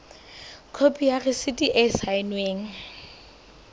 khopi ya rasiti e saennweng